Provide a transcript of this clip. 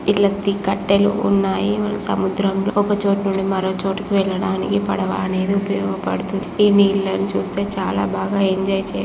ఇల్లు ఎత్తి కట్టెలు ఉన్నాయి. సముద్రంలో ఒక చోట నుండి మరొక చోటు వెళ్లడానికి పడవ అనేది ఉపయోగపడుతుంది. ఈ నీళ్లను చూస్తే చాలా బాగా ఎంజాయ్ చేయొచ్చు.